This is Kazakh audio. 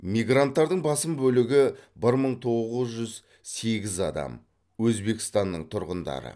мигранттардың басым бөлігі бір мың тоғыз жүз сегіз адам өзбекстанның тұрғындары